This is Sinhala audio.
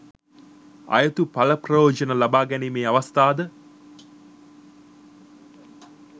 අයුතු පල ප්‍රයෝජන ලබා ගැනීමේ අවස්ථාද